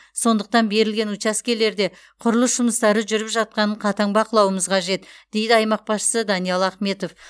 сондықтан берілген учаскелерде құрылыс жұмыстары жүріп жатқанын қатаң бақылауымыз қажет дейді аймақ басшысы даниал ахметов